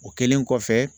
O kɛlen kɔfɛ